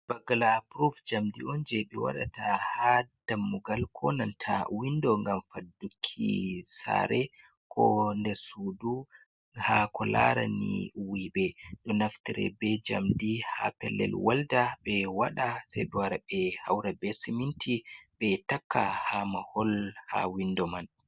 Bagala pruv njamdi on jei ɓe waɗata ha dammugal ko nanta windo ngam fadduki sare, ko ndes sudu ha ko larani wuiɓe. Ɗo naftare be njamdi ha pelel welda, ɓe waɗa, sei ɓe wara ɓe haura be siminti, ɓe takka ha mahol, ha windo man.